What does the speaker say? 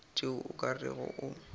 tšeo o ka rego o